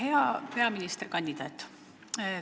Hea peaministrikandidaat!